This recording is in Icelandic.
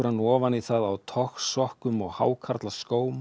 ofan í það á togsokkum og